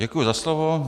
Děkuji za slovo.